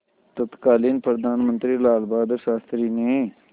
तत्कालीन प्रधानमंत्री लालबहादुर शास्त्री ने